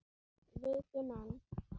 Viti menn!